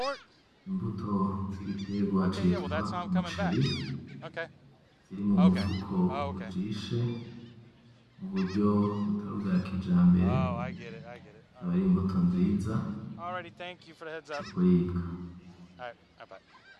Imbuto z'igitegwa citwa umuceri ziri mu mufuko ujishe mu buryo butari ubwa kijambere akaba ari imbuto nziza zo kuribwa.